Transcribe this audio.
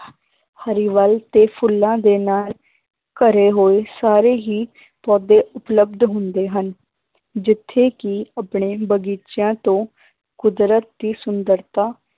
ਹਰਿਆਵਲ ਤੇ ਫੁੱਲਾਂ ਦੇ ਨਾਲ ਘਰੇ ਹੋਏ ਸਾਰੇ ਹੀ ਪੌਦੇ ਉਪਲਬਧ ਹੁੰਦੇ ਹਨ ਜਿੱਥੇ ਕਿ ਆਪਣੇ ਬਗ਼ੀਚਿਆਂ ਤੋਂ ਕੁਦਰਤ ਦੀ ਸੁੰਦਰਤਾ